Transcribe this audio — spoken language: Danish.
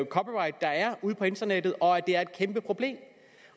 copyright der er ude på internettet og at det er et kæmpe problem